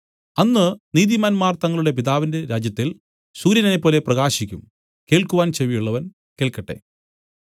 അന്ന് നീതിമാന്മാർ തങ്ങളുടെ പിതാവിന്റെ രാജ്യത്തിൽ സൂര്യനെപ്പോലെ പ്രകാശിക്കും കേൾക്കുവാൻ ചെവിയുള്ളവൻ കേൾക്കട്ടെ